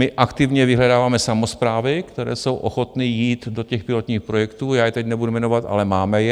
My aktivně vyhledáváme samosprávy, které jsou ochotny jít do těch pilotních projektů, já je teď nebudu jmenovat, ale máme je.